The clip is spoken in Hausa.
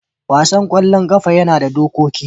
wasan kwallon kafa yana da dokoki.